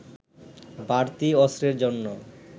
বাড়তি অস্ত্রের জন্য